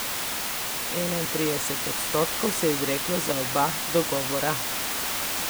Enaintrideset odstotkov se je izreklo za oba dogovora.